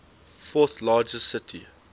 fourth largest city